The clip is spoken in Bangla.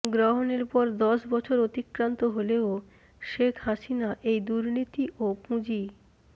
গ্রহণের পর দশ বছর অতিক্রান্ত হলেও শেখ হাসিনা এই দুর্নীতি ও পুঁজি